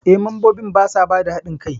Eh, mambobin basa bada hadin kai.